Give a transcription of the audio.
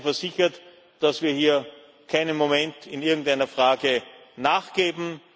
Seien Sie versichert, dass wir hier keinen Moment in irgendeiner Frage nachgeben.